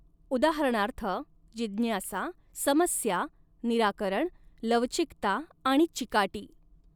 उदाहरणार्थः जिज्ञासा समस्या निराकरण लवचिकता आणि चिकाटी.